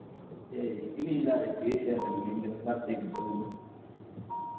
എനിക്ക് നീന്താറിയ എനിക്ക് വിഷയല്ല നീന്തലിന് certificate ഇണ്ട്